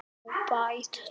En hver er staðan?